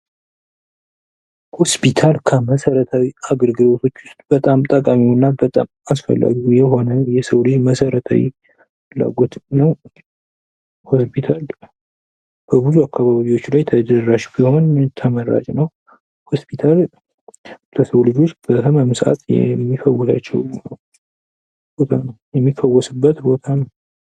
ሆስፒታል ከመሰረታዊ አገልግሎቶች ውስጥ በጣም ጠቃሚው እና በጣም አስፈላጊ የሆነ የሰው ልጅ መሰረታዊ ፍላጎት ነው ። ሆስፒታል በብዙ አካባቢዎች ላይ ተደራሽ ቢሆን ተመራጭ ነው ። ሆስፒታል ለሰው ልጆች በታመሙ ሰአት የሚፈውሳቸው ቦታ ነው የሚፈወሱበት ቦታ ነው ።